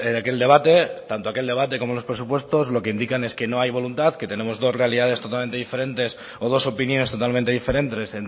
aquel debate tanto aquel debate como en los presupuestos lo que indican es que no hay voluntad que tenemos dos realidades totalmente diferentes o dos opiniones totalmente diferentes